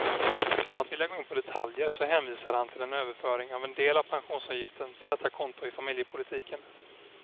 Utan att vilja gå in på detaljer, så hänvisar han till en överföring av en del av pensionsavgiften till detta konto i familjepolitiken.